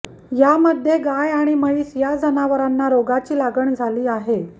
यामध्ये गाय आणि म्हैस या जनावरांना रोगाची लागण झाली आहे